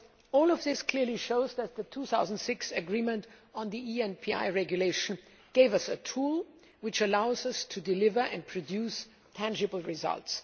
All of this clearly shows that the 2006 agreement on the ENPI regulation gave us a tool which allows us to deliver and produce tangible results.